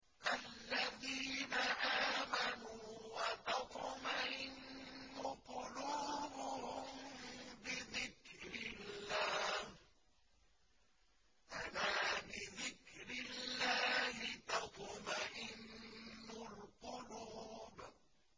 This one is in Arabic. الَّذِينَ آمَنُوا وَتَطْمَئِنُّ قُلُوبُهُم بِذِكْرِ اللَّهِ ۗ أَلَا بِذِكْرِ اللَّهِ تَطْمَئِنُّ الْقُلُوبُ